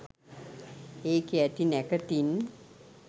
ඒකෙ ඇති නැකතින්